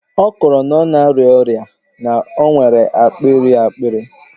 Ọ kọrọ na-arịa ọrịa, na o nwere akpịrị akpịrị.